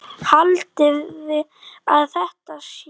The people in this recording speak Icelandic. Haldiði að þetta sé ódýrt?